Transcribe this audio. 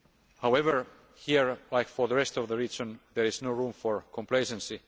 However, here, as for the rest of the region, there is no room for complacency.